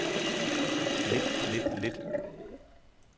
lidt lidt lidt